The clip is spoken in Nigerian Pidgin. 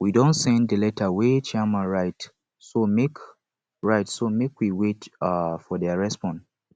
we don send the letter wey chairman write so make write so make we wait um for their response